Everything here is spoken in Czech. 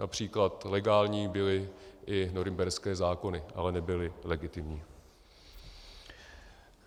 Například legální byly i norimberské zákony, ale nebyly legitimní.